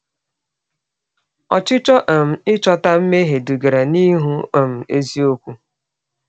Ọchịchọ um ịchọta mmehie dugara n’ịhụ um eziokwu.